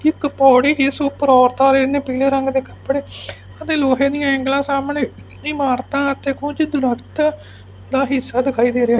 ਇੱਕ ਪੌੜੀ ਜਿੱਸ ਊਪਰ ਔਰਤਾਂ ਰੇਨ ਪੀਲੇ ਰੰਗ ਦੇ ਕੱਪੜੇ ਅਤੇ ਲੋਹੇ ਦੀਆਂ ਏਂਗਲਾਂ ਸਾਹਮਣੇ ਇਮਾਰਤਾਂ ਤੇ ਕੁਝ ਦਰੱਖਤ ਦਾ ਹਿੱਸਾ ਦਿਖਾਈ ਦੇ ਰਿਹਾ ਹੈ।